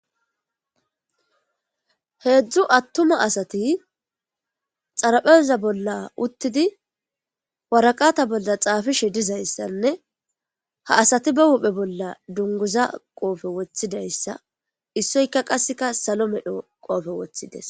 heedzdzu attuma asati xarapheza bolla uttidi waraqata bolla xaafishe dizayssanne ha asati ba huphe bolla dunguza qoofe woththidayssa issoyka qasseka salo medho qoofe woththides